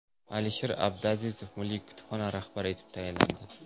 Alisher Abduazizov Milliy kutubxona rahbari etib tayinlandi.